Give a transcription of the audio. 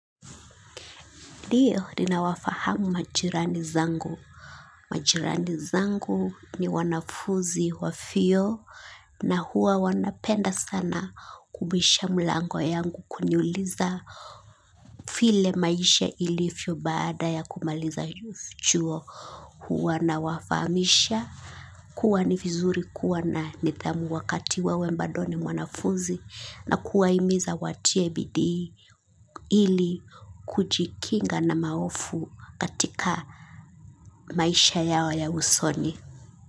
Ndio ninawafahamu majirani zangu. Majirani zangu ni wanafunzi wa vyuo na huwa wanapenda sana kubisha mlango yangu kuniuliza vile maisha ilivyo baada ya kumaliza chuo. Huwa nawafahamisha kuwa ni vizuri kuwa na nidhamu wakati wewe badobni mwanafunzi na kuwahimiza watie bidi ili kujikinga na mahofu katika maisha yao ya usoni.